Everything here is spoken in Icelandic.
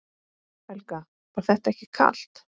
Helga: Var þetta ekki kalt?